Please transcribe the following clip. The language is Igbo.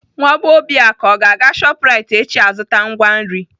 Nwa bee Obiaku ọ ga-aga Shoprite echi azụta ngwa nri?